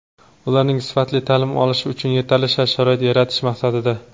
ularning sifatli ta’lim olishi uchun yetarli shart-sharoit yaratish maqsadida:.